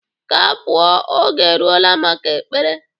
Ka a pụọ. Oge erugo maka Ekpere